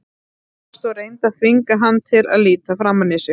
sagði hún hvasst og reyndi að þvinga hann til að líta framan í sig.